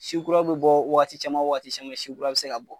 Si kura bɛ bɔ waagati caman waagati caman si kura bɛ se ka bɔ.